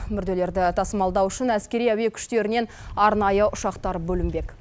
мүрделерді тасымалдау үшін әскери әуе күштерінен арнайы ұшақтар бөлінбек